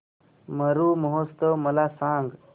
मरु महोत्सव मला सांग